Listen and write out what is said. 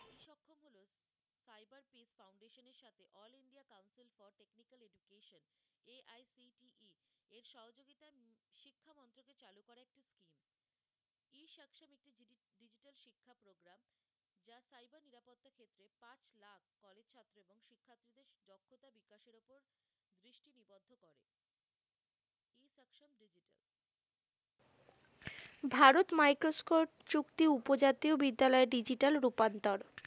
ভারত মাইক্রস্কোর চুক্তি উপজাতীয় বিদ্যালয় digital রূপান্তর